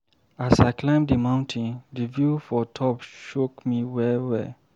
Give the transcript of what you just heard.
As I climb di mountain, di view for top shock me well-well.